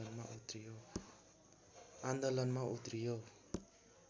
आन्दोलनमा उत्रियो